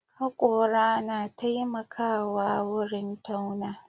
Haƙora na taimakawa wurin tauna.